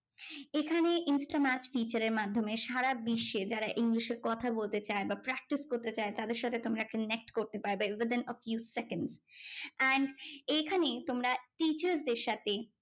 এখানে instamat feature এর মাধ্যমে সারা বিশ্বে যারা ইংলিশে কথা বলতে চায় বা practice করতে চায় তাদের সাথে তোমরা একটা next করতে পারবে। other than you second and এইখানে তোমরা teachers দের সাথে